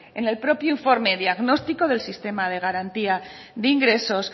en el propio informe diagnóstico del sistema de garantía de ingresos